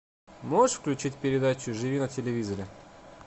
можешь включить передачу живи на телевизоре